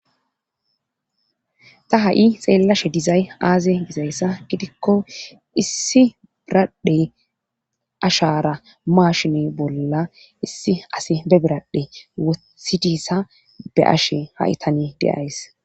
Ta ha7i xeellashe dizay aaze gizayssa gidikko issi biradhe ashara maashine bolla issi asi be biradhe wosidissa be ashe ha7i tani deays.